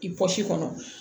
I bɔsi kɔnɔ